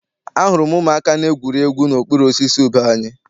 Ahụrụ m ụmụaka na-egwuri egwu n'okpuru osisi ube anyị.